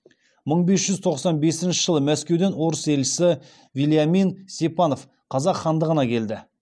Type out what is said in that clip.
мың бес жүз тоқсан бесінші жылы мәскеуден орыс елшісі вельямин степанов қазақ хандығына келді